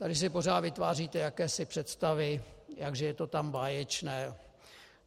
Tady si pořád vytváříte jakési představy, jak že je to tam báječné.